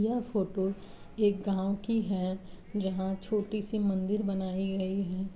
यह फ़ोटो एक गांव की है जहाॅं छोटी सी मंदिर बनाई गई है